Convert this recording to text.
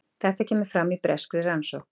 Þetta kemur fram í breskri rannsókn